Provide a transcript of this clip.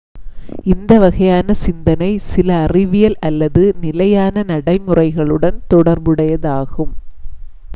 இந்த வகையான சிந்தனை சில அறிவியல் அல்லது நிலையான நடைமுறைகளுடன் தொடர்புடையதாகும்